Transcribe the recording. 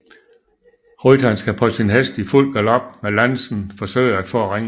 Rytteren skal på sin hest i fuld galop med lansen forsøge at få ringen